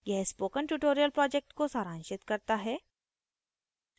यह spoken tutorial project को सारांशित करता है